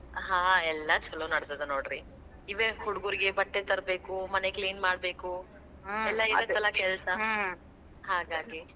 ಹಾ ಎಲ್ಲಾ ಚಲೋ ನಡದದ ನೋಡ್ರಿ. ಇವೆ ಹುಡುಗುರ್ಗೆ ಬಟ್ಟೆ ತರಬೇಕು, ಮನೆ clean ಮಾಡಬೇಕು. ಎಲ್ಲಾ ಇರತ್ತಲಾ ಕೆಲ್ಸಾ . ಹಾಗಾಗಿ.